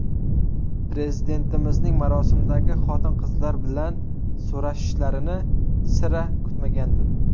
Prezidentimizning marosimdagi xotin-qizlar bilan so‘rashishlarini sira kutmagandim.